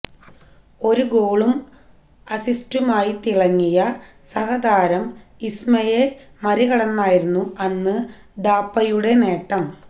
ഒരു ഗോളും അസിസ്റ്റുമായി തിളങ്ങിയ സഹതാരം ഇസ്മയെ മറികടന്നായിരുന്നു അന്ന് ഥാപ്പയുടെ നേട്ടം